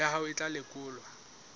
ya hao e tla lekolwa